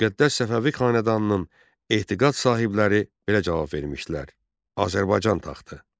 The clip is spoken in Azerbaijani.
Müqəddəs Səfəvi xanədanının etiqad sahibləri belə cavab vermişdilər: Azərbaycan taxtı.